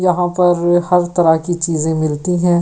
यहाँ पर हर तरह की चीजें मिलती हैं।